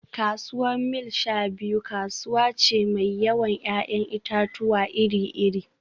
Kasuwar Mile-sha-biyu kasuwa ce mai yawan 'ya'yan itatuwa iri-iri